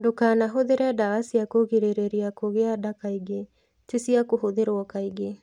Ndũkanahũthĩre ndawa cia kũgirĩrĩria kũgĩa nda kaingĩ; ti cia kũhũthĩrũo kaingĩ.